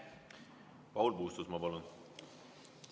Paul Puustusmaa, palun!